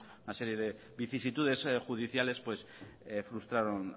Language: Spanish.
una serie de vicisitudes judiciales frustraron